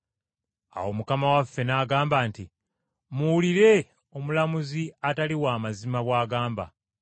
Awo Mukama waffe n’agamba nti, “Muwulire omulamuzi atali wa mazima bw’agamba.